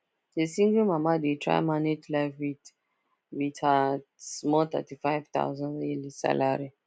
the single mama dey try manage life with with her small thirty five thousand yearly salary